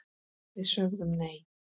Við sögðum nei!